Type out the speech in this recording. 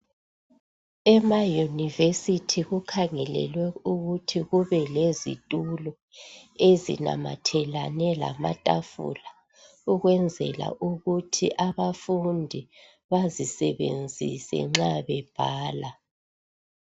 Ema university kukhangelelwe ukuthi kube lezitulo, ezinamathelane lamatafula, ukwenzela ukuthi abafundi bazisebenzise nxa bebhala.